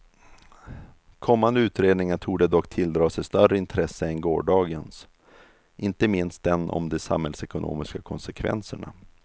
Kommande utredningar torde dock tilldra sig större intresse än gårdagens, inte minst den om de samhällsekonomiska konsekvenserna.